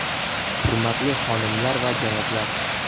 Hurmatli xonimlar va janoblar!